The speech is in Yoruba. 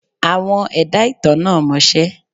Àwọn ẹ̀dá ìtàn náà mọṣẹ́.